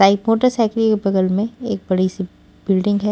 Type motorcycle के बगल में एक बड़ी सी बिल्डिंग है।